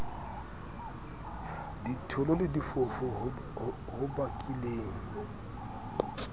ditholo le difofu ho bakileng